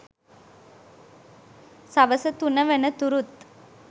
සවස තුන වන තුරුත්